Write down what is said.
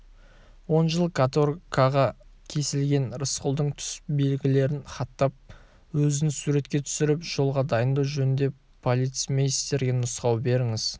он жыл каторгаға кесілген рысқұлдың түс белгілерін хаттап өзін суретке түсіріп жолға дайындау жөнінде полицмейстерге нұсқау беріңіз